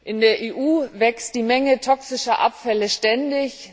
In der EU wächst die Menge toxischer Abfälle ständig.